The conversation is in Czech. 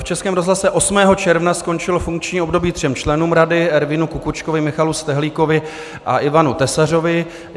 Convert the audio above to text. V Českém rozhlase 8. června skončilo funkční období třem členům rady - Ervinu Kukuczkovi, Michalu Stehlíkovi a Ivanu Tesařovi.